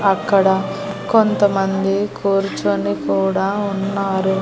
అక్కడ కొంతమంది కూర్చొని కూడా ఉన్నారు.